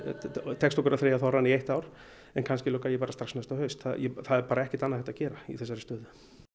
tekst okkur að þreyja þorrann í eitt ár en kannski loka ég bara strax næsta haust það er bara ekkert annað hægt að gera í þessari stöðu